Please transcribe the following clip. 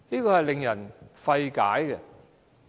這是令人費解的。